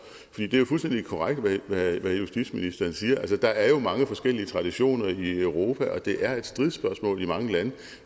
det er fuldstændig korrekt hvad justitsministeren siger der er jo mange forskellige traditioner i europa og det er et stridsspørgsmål i mange lande